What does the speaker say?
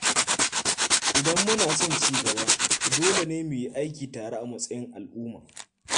Idan muna son ci gaba, dole ne mu yi aiki tare a matsayin al’umma.